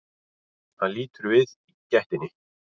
Hann lítur við í gættinni.